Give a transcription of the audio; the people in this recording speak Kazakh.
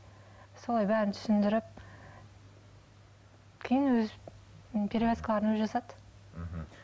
солай бәрін түсіндіріп кейін өзі перевязкаларын өзі жасады мхм